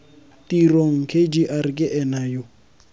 tirong kgr ke ena yo